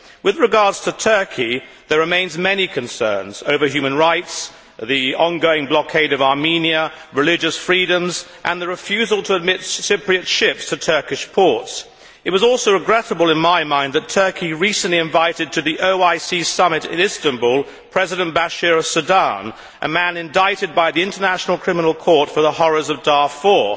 With regard to Turkey, there remain many concerns over human rights, the ongoing blockade of Armenia, religious freedoms and the refusal to admit Cypriot ships to Turkish ports. It was also regrettable, in my mind, that Turkey recently invited to the OIC Summit in Istanbul President Bashir of Sudan, a man indicted by the International Criminal Court for the horrors of Darfur.